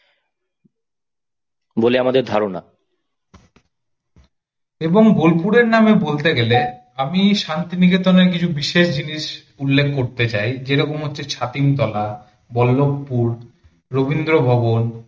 এবং বোলপুরের নামে বলতে গেলে আমি শান্তিনিকেতনের কিছু বিশেষ জিনিস উল্লেখ করতে চাই যেরকম হচ্ছে ছাতিমতলা, বল্লভপুর, রবীন্দ্র ভবন,